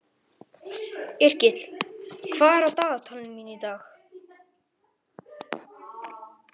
Yrkill, hvað er í dagatalinu mínu í dag?